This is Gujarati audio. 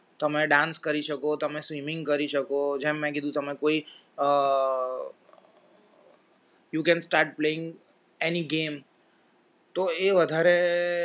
તમે dance કરી શકો તમે swimming કરી શકો જેમ મેં કીધું તમે કોઈ અ you can start playing any game તો એ વધારે